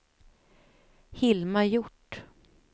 Hilma Hjort